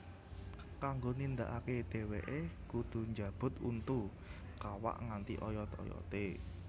Kanggo nindakake dheweke kudhu njabut untu kawak nganti oyot oyote